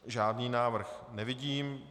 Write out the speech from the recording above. Žádný návrh nevidím.